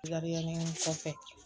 kɔfɛ